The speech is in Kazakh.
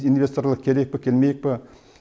инвесторлар келейік пе келмейік пе